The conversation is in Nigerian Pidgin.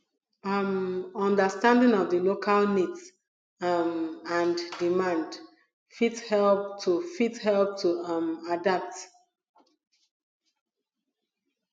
um understanding of di local needs um and demand fit help to fit help to um adapt